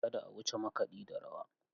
Kada a wuce makaɗi da rawa.